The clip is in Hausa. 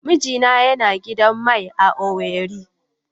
Mijina yana da gidan mai a Owerri.